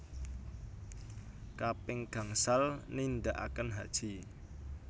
Kaping gangsal nindaaken haji